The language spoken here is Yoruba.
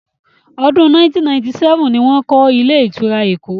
Ọdún 1977 ni wọ́n kọ́ ilé-ìtura Èkó.